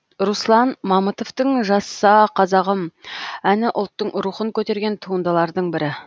руслан мамытовтың жаса қазағым әні ұлттың рухын көтерген туындылардың бірі